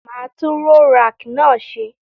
Màá tun roll rack náà se